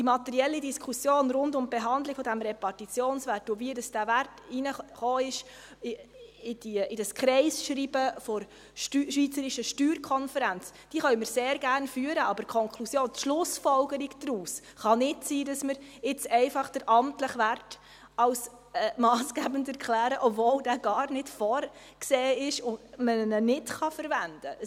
Die materielle Diskussion rund um die Behandlung des Repartitionswerts und wie dieser Wert in dieses Kreisschreiben der SSK hineinkam, können wir sehr gerne führen, aber die Konklusion, die Schlussfolgerung daraus kann nicht sein, dass wir einfach den amtlichen Wert als massgebend erklären, obwohl dieser gar nicht vorgesehen ist und man diesen nicht verwenden kann.